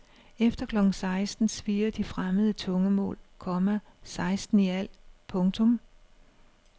Efter klokken seksten svirrer de fremmede tungemål, komma seksten i alt. punktum